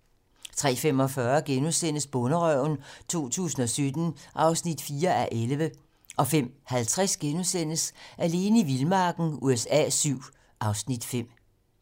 03:45: Bonderøven 2017 (4:11)* 05:50: Alene i vildmarken USA VII (Afs. 5)*